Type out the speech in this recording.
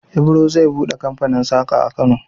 Ibro zai buɗe kamfanin saƙa a Kano.